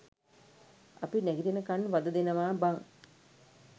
අපි නැගිටිනකන් වද දෙනවා බං.